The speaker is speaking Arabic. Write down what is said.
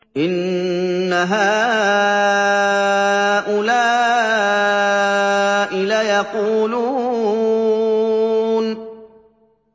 إِنَّ هَٰؤُلَاءِ لَيَقُولُونَ